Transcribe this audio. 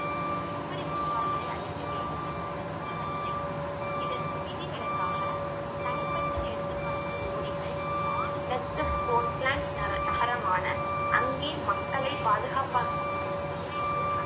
இப்படி புகார்களை அளிக்க வேண்டும் என்பது புரிந்ததில்லை இதற்கு விதிவிலக்காக தனிப்பட்ட எடுத்துக்காட்டு ஓரிகள் மாநில நரக~ நகரமான அங்கே மக்களை பாதுகாப்பதாக விரைந்து